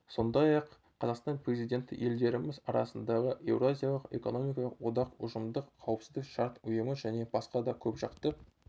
сондай-ақ қазақстан президенті елдеріміз арасындағы еуразиялық экономикалық одақ ұжымдық қауіпсіздік шарт ұйымы және басқа да көпжақты